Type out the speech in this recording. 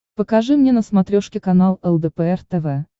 покажи мне на смотрешке канал лдпр тв